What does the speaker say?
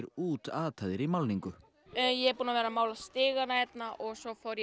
útataðir í málningu ég er búin að vera að mála stigana hérna og svo fór ég